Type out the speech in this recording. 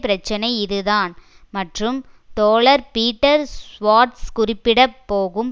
பிரச்சினை இதுதான் மற்றும் தோழர் பீட்டர் சுவார்ட்ஸ் குறிப்பிட போகும்